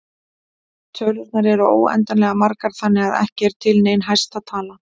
Tölurnar eru óendanlega margar þannig að ekki er til nein hæsta tala.